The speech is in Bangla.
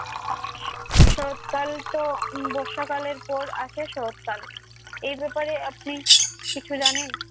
শরৎকালতো বর্ষাকালের পর আসে শরৎকাল। এ ব্যাপারে আপনি কিছু জানেন?